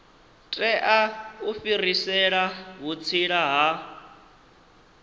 tea u fhirisela vhutsila ha